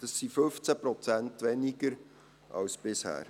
Das sind 15 Prozent weniger als bisher.